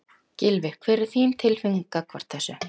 Gylfi, hver er þín tilfinning gagnvart þessu?